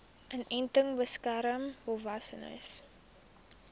inenting beskerm volwassenes